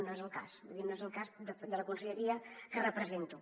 no és el cas vull dir no és el cas de la conselleria que represento